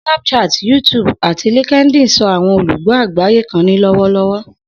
Snapchat, YouTube, ati LinkedIn so awọn olugbo agbaye kan ni lọwọlọwọ.